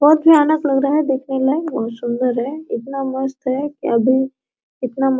बहुत भयानक लग रहा है देखने में बहुत सुंदर है इतना मस्त है कि अभी इतना --